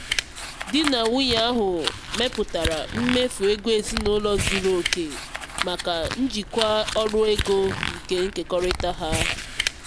di na nwunye ahụ mepụtara mmefu ego ezinụlọ zuru oke maka njikwa ọrụ ego nke nkekọrịta ha.